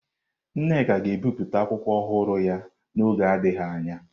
Nneka ga-ebipụta akwụkwọ ọhụrụ ya n'oge adịghị anya.